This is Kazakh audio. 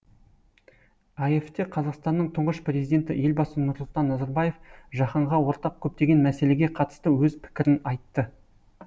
аэф те қазақстанның тұңғыш президенті елбасы нұрсұлтан назарбаев жаһанға ортақ көптеген мәселеге қатысты өз пікірін айтты